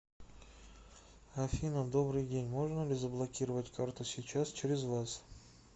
афина добрый день можно ли заблокировать карту сейчас через вас